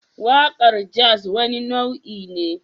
Waƙar jazz wani nau'i ne